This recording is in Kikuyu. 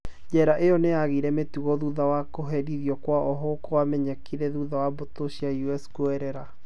Jera ĩo nĩyaagire mĩtugo thutha wa kũherithio kwa ohwo kwamenyekire thutha wa mbũtũ cia US kuoerera